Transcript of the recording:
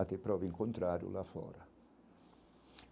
Até prove o contrário lá fora.